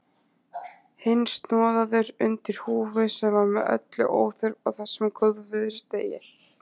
Hinn snoðaður undir húfu sem var með öllu óþörf á þessum góðviðrisdegi.